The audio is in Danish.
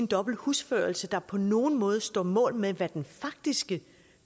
dobbelt husførelse der på nogen måde står mål med hvad den faktiske